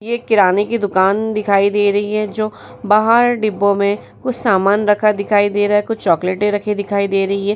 ये किराने की दुकान दिखाई दे रही है जो बाहर डिब्बों में कुछ सामान रखा दिखाई दे रहा है कुछ चॉकलेटे रखी दिखाई दे रही है।